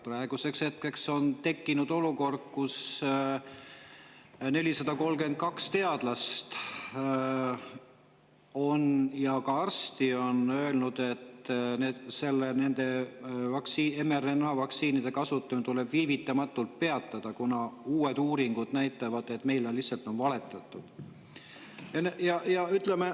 Praeguseks hetkeks on 432 teadlast ja arsti öelnud, et nende mRNA-vaktsiinide kasutamine tuleb viivitamatult peatada, kuna uued uuringud näitavad, et meile on lihtsalt valetatud.